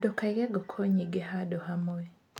Ndũkaige ngũkũ nyingĩ handũ hamwe.